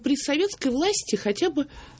при советской власти хотя бы